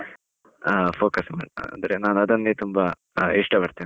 ಹಾ, focus ಮಾಡುದು, ನಾನು ಅಂದ್ರೆ ಅದನ್ನೇ ತುಂಬಾ ಇಷ್ಟಪಡ್ತೇನೆ.